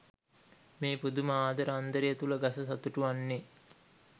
මේ පුදුම ආදර අන්දරය තුළ ගස සතුටු වන්නේ